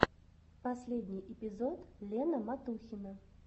последний эпизод лена матухина